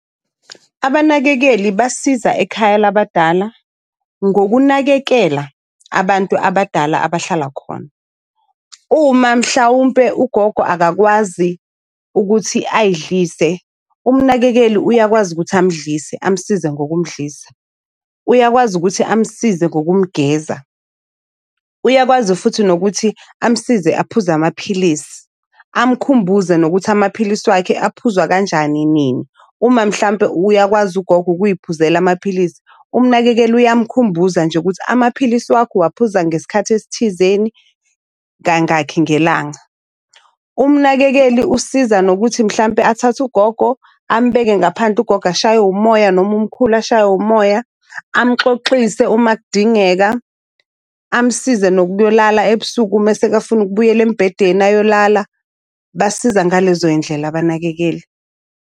Abanakekeli basiza ekhaya labadala ngokunakekela abantu abadala abahlala khona. Uma mhlawumpe ugogo akakwazi ukuthi ayidlise, umnakekeli uyakwazi ukuthi amdlise amsize ngokumdlisa. Uyakwazi ukuthi amsize ngokumgeza. Uyakwazi futhi nokuthi amsize aphuze amaphilisi. Amkhumbuze nokuthi amaphilisi wakhe aphuzwa kanjani, nini. Uma mhlampe uyakwazi ugogo ukuy'phuzela amaphilisi, umnakekeli uyamkhumbula nje ukuthi amaphilisi wakho uwaphuza ngesikhathi esithizeni, kangakhi ngelanga. Umnakekeli usiza nokuthi mhlampe athathe ugogo ambeke ngaphandle ugogo ashayo moya noma umkhulu ashay'we umoya, amoxoxise uma kudingeka, amsize nokuyolala ebusuku mesekafuna ukubuyela embedeni ayolala. Basiza ngalezo yindlela abanakekeli.